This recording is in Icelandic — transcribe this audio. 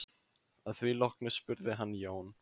Að því loknu spurði hann Jón